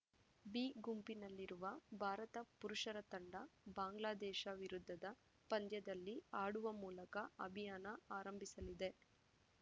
B ಗುಂಪಿನಲ್ಲಿರುವ ಭಾರತ ಪುರುಷರ ತಂಡ ಬಾಂಗ್ಲಾದೇಶ ವಿರುದ್ಧದ ಪಂದ್ಯದಲ್ಲಿ ಆಡುವ ಮೂಲಕ ಅಭಿಯಾನ ಆರಂಭಿಸಲಿದೆ